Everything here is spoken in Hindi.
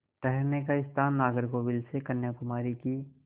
ठहरने का स्थान नागरकोविल से कन्याकुमारी की